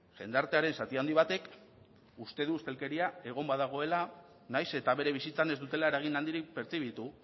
jendartearen zati handi batek uste du ustelkeria egon badagoela nahiz eta bere bizitzan ez dutela eragin handirik pertzibitu